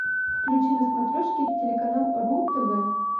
включи на смотрешке телеканал ру тв